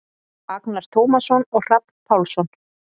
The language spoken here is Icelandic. Agnar Tómasson og Hrafn Pálsson.